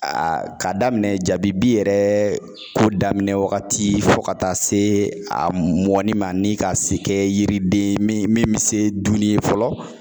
A ka daminɛ jabibi yɛrɛ ko daminɛ wagati fo ka taa se a mɔni ma , ni ka se kɛ yiriden ye min, min bi se dun ye fɔlɔ